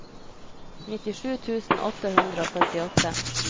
nittisju tusen åtte hundre og førtiåtte